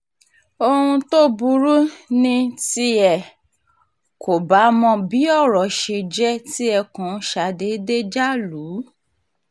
ohun tó burú ni tí ẹ kò bá mọ bí ọ̀rọ̀ ṣe jẹ́ tí ẹ kàn ṣàdédé já lù